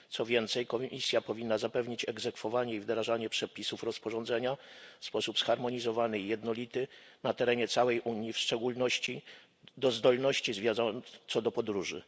Co więcej, Komisja powinna zapewnić egzekwowanie i wdrażanie przepisów rozporządzenia w sposób zharmonizowany i jednolity na terenie całej Unii, w szczególności jeśli chodzi o zdolność zwierząt co do podróży.